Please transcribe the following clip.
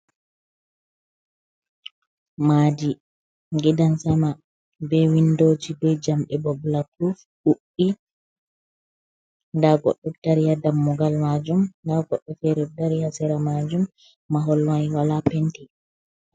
Madi gidansama be windoji be jamɗe bo bagalapuruf ɗuɗɗii, nda goɗɗo dariya dammugal majum, nda goɗɗo fere ɗo dari ha sera majum, maholmai wala penti.